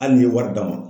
Hali n'i ye wari d'a ma